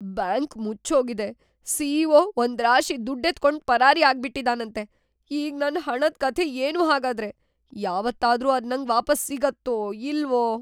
Bank ಮುಚ್ಚೋಗಿದೆ, CEO. ಒಂದ್ರಾಶಿ ದುಡ್ಡೆತ್ಕೊಂಡ್ ಪರಾರಿ ಆಗ್ಬಿಟಿದಾನಂತೆ, ಈಗ್‌ ನನ್‌ ಹಣದ್‌ ಕಥೆ ಏನು ಹಾಗಾದ್ರೆ? ಯಾವತ್ತಾದ್ರೂ ಅದ್‌ ನಂಗ್‌ ವಾಪಸ್‌ ಸಿಗತ್ತೋ ಇಲ್ವೋ?!